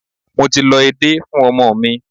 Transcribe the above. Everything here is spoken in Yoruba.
Mo ti lọ edé fún ọmọ mi.